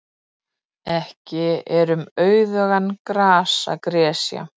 Ekki er um auðugan garð að gresja.